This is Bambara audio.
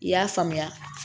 I y'a faamuya